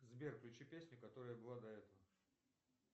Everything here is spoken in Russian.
сбер включи песню которая была до этого